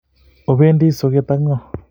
Opendi soget ak ng'o?